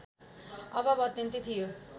अभाव अत्यन्तै थियो